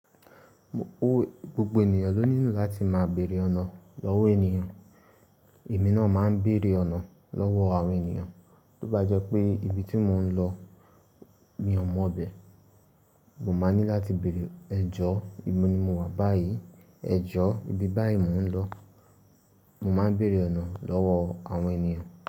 Gbogbo ènìyàn ló nílò láti máa bèèrè ọ̀nà lọ́wọ́ ènìyàn. Èmi náà máa ń bèèrè ọ̀nà lọ́wọ́ àwọn ènìyàn, tó bá jẹ́ pé ibi tí mò ń lọ mi ò mọ̀ ibẹ̀. Mo máa ní láti bèèrè ẹ̀jọ̀, ìbò ni mo wà báyìí? Ẹ̀jọ̀, ibi báyìí mò ń lọ. Mo máa ń bèèrè ọ̀nà lọ́wọ́ àwọn ènìyàn.